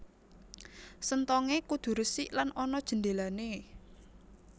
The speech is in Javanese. Senthongé kudu resik lan ana jendhélané